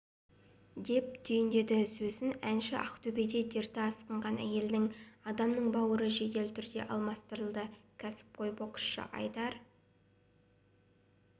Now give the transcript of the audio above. деп түйіндеді сөзін әнші ақтөбеде дерті асқынған әйел адамның бауыры жедел түрде алмастырылды кәсіпқой боксшы айдар